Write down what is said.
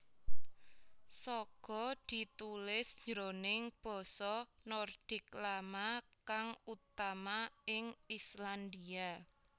Saga ditulis jroning basa Nordik Lama ksng utama ing Islandia